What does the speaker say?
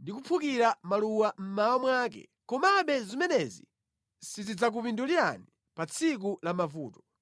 ndi kuphukira maluwa mmawa mwake, komabe zimenezi sizidzakupindulirani pa tsiku la mavuto.